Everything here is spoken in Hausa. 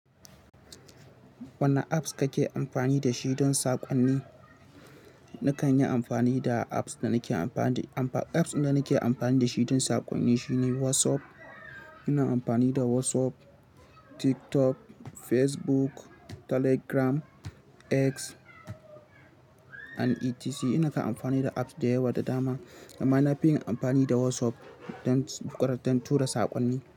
Wane apps kake amfani da shi don saƙonni? Nakan yi amfani da apps da nake amfani, apps da nake amfani da shi don saƙonni shine WhatsApp. Ina amfani da WhatsApp, TikTok, Facebook, Telegram, X and etc. Ina kan amfani da apps da yawa da dama, amma na fi yin amfani da WhatsApp don, ƙarin don tura saƙonni.